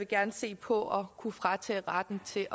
gerne se på at kunne fratage retten til